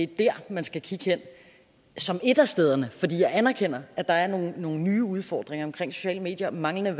der man skal kigge hen som et af stederne jeg anerkender at der er nogle nogle nye udfordringer omkring sociale medier manglende